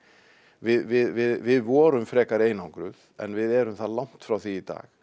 við vorum frekar einangruð en við erum langt frá því í dag